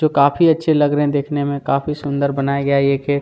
जो काफी अच्छे लग रहे है देखने में काफी सुंदर बनाया गया है ये खेत--